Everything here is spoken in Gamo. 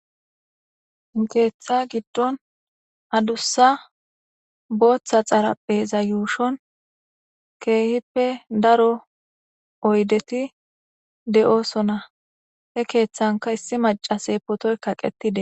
Keeththa giddon adussa booththa xarappeza yuushon keehippe daro oydeti de7oosona he keeththanka issi macase potoy kaqetide.